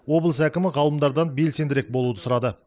облыс әкімі ғалымдардан белсендірек болуды сұрады